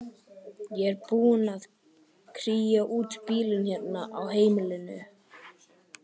Ég er búin að kría út bílinn hérna á heimilinu.